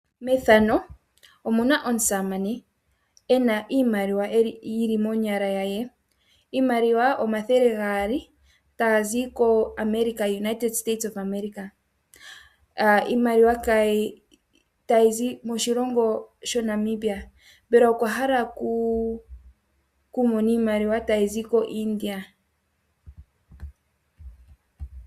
Methano omuna omusamane ena iimaliwa yili monyala yaye. Iimaliwa omathele gaali dhazi koAmerica United State of America. Iimaliwa tayi zi moshilongo shaNamibia mbela okwa hala oku mona iimaliwa tayizi koIndia.